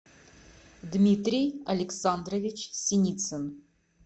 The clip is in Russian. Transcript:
дмитрий александрович синицын